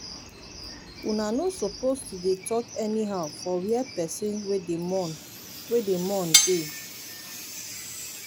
una no suppose to dey talk anyhow for where pesin wey dey mourn wey dey mourn dey.